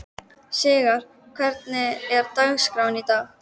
Sigarr, hvernig er dagskráin í dag?